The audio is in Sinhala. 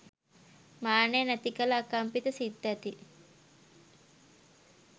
මානය නැති කළ අකම්පිත සිත් ඇති